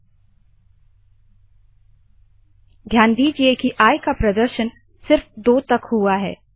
four I 15 डिस्प if आई2 break end end ध्यान दीजिए की आई का प्रदर्शन सिर्फ 2 तक हुआ है